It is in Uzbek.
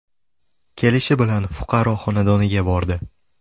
Kelishi bilan fuqaro xonadoniga bordi.